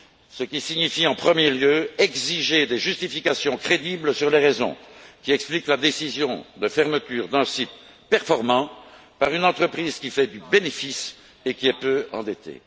Ce qui signifie tout d'abord exiger des justifications crédibles sur les raisons qui expliquent la décision de fermeture d'un site performant par une entreprise qui fait du bénéfice et qui est peu endettée.